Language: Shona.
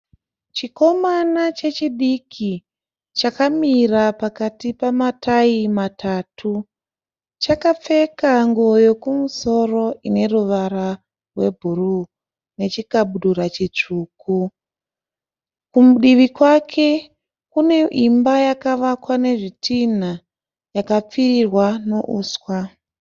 Chikomana chechidiki chakamira pakati pematai matatu, chakapfeka nguwo yekumusoro ineruvara rwebhuruu ne chikabudura chitsvuku. Kudivi kwake kune imba yakavakwa nezvitinha ikapfirirwa neuswa.